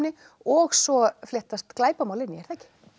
og svo fléttast glæpamál inn í er það ekki